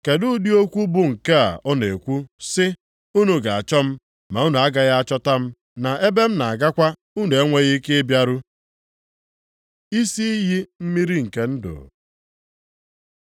Kedụ ụdị okwu bụ nke a ọ na-ekwu sị, ‘Unu ga-achọ m ma unu agaghị achọta m,’ na ‘Ebe m na-agakwa unu enweghị ike ịbịaru’?” Isi iyi mmiri nke ndụ